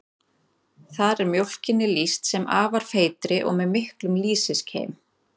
Þar er mjólkinni lýst sem afar feitri og með miklum lýsiskeim.